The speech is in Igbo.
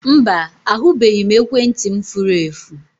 Mba, ahụbeghị m ekwentị m furu efu